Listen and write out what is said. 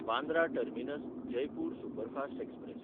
Bandra टर्मिनस–जयपूर superfast express